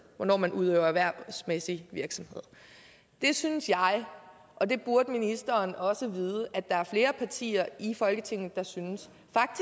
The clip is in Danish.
hvornår man udøver erhvervsmæssig virksomhed det synes jeg og det burde ministeren også vide at der er flere partier i folketinget der synes